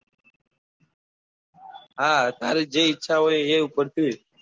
હા તારી જે ઈચ્છા હોય એ ઉપર જઈએ.